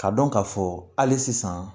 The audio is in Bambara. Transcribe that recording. K'a dɔn k'a fɔ hali sisan